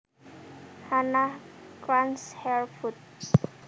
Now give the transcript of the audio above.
Hannah crunched her food